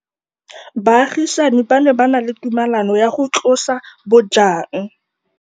Baagisani ba ne ba na le tumalanô ya go tlosa bojang.